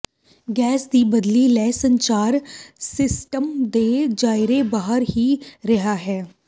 gas ਦੀ ਬਦਲੀ ਲੈ ਸੰਚਾਰ ਸਿਸਟਮ ਦੇ ਜ਼ਰੀਏ ਬਾਹਰ ਹੀ ਰਿਹਾ ਹੈ